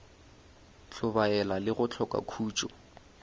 hlobaela le go hloka khutšo